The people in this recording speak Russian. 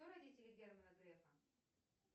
кто родители германа грефа